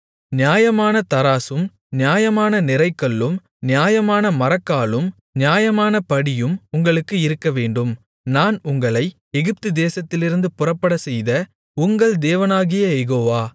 நியாயமான தராசும் நியாயமான நிறைகல்லும் நியாயமான மரக்காலும் நியாயமான படியும் உங்களுக்கு இருக்கவேண்டும் நான் உங்களை எகிப்துதேசத்திலிருந்து புறப்படச்செய்த உங்கள் தேவனாகிய யெகோவா